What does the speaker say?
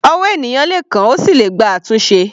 Ọwọ́ ènìyàn le kán, ó sì le gba àtúnṣe.